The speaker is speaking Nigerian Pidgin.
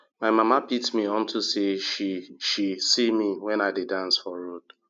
my mama beat me unto say she she see me wen i dey dance for road